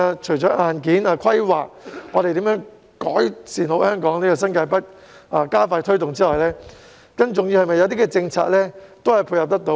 除了硬件規劃、如何改善香港新界北、加快推動其發展之外，更重要的是政策可以配合。